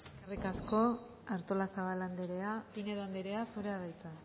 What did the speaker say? eskerrik asko artolazabal andrea pinedo andrea zurea da hitza